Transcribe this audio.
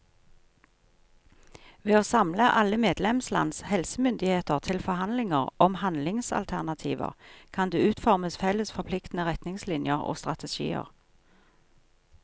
Ved å samle alle medlemslands helsemyndigheter til forhandlinger om handlingsalternativer, kan det utformes felles forpliktende retningslinjer og strategier.